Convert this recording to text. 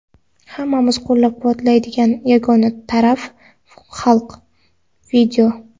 hammamizni qo‘llab-quvvatlaydigan yagona taraf — xalq.